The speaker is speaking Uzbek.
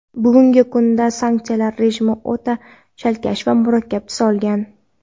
bugungi kunda sanksiyalar rejimi o‘ta chalkash va murakkab tus olgan.